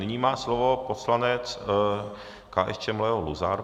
Nyní má slovo poslanec KSČM Leo Luzar.